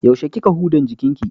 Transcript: Yaushe kika hudan jikinki?